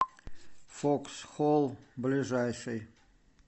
фоксхол ближайший